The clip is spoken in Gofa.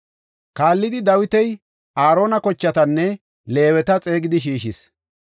Kaallidi Dawiti Aarona kochatanne Leeweta xeegidi shiishis.